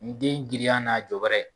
N den girinya n'a jɔ bɛrɛ